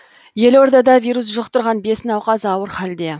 елордада вирус жұқтырған бес науқас ауыр халде